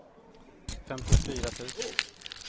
femtiofyra tusen